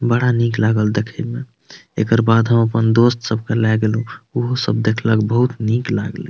बड़ा निक लागल देखै में एकर बाद हम अपन दोस्त सब के लेगैलो उहो सब देखलक बहुत निक लागल --